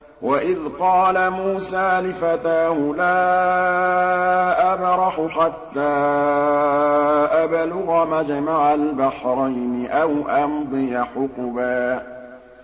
وَإِذْ قَالَ مُوسَىٰ لِفَتَاهُ لَا أَبْرَحُ حَتَّىٰ أَبْلُغَ مَجْمَعَ الْبَحْرَيْنِ أَوْ أَمْضِيَ حُقُبًا